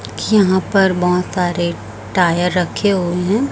यहां पर बहोत सारे टायर रखे हुए हैं।